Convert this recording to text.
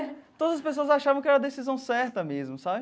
Todas as pessoas achavam que era a decisão certa mesmo, sabe?